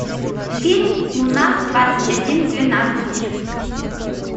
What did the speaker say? фильм луна двадцать один двенадцать